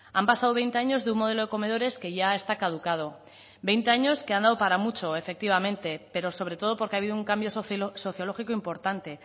han pasado veinte años de un modelo de comedores que ya está caducado veinte años que han dado para mucho efectivamente pero sobre todo porque ha habido un cambio sociológico importante